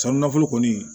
Sanu nafolo kɔni